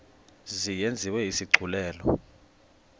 mzi yenziwe isigculelo